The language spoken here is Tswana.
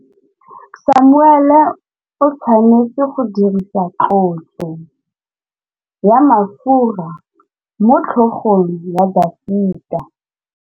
Samuele o tshwanetse go dirisa tlotsô ya mafura motlhôgong ya Dafita.